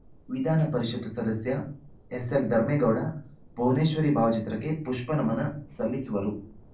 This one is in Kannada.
ವಿಧಾನ ಪರಿಷತ್ತು ಸದಸ್ಯ ಎಸ್‌ಎಲ್‌ ಧರ್ಮೇಗೌಡ ಭುವನೇಶ್ವರಿ ಭಾವಚಿತ್ರಕ್ಕೆ ಪುಷ್ಪನಮನ ಸಲ್ಲಿಸುವರು